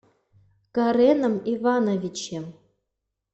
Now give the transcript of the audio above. кареном ивановичем